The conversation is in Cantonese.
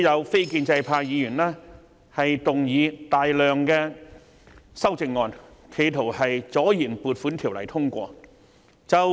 非建制派議員每年都動議大量修正案，企圖阻延撥款條例草案通過。